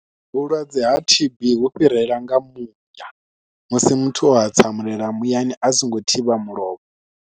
Vhulwadze ha T_B vhu fhirela nga muya musi muthu o hatsamulela muyani a songo thivha mulomo.